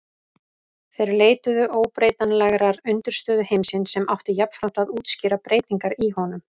Þeir leituðu óbreytanlegrar undirstöðu heimsins sem átti jafnframt að útskýra breytingar í honum.